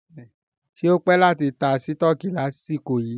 Ṣé o pé láti ta sítọ̀kì ní àsìkò yìí?